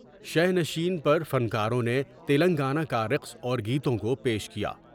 شینشین پر فنکاروں نے تلنگانہ کا رقص اور گیتوں کو پیش کیا ۔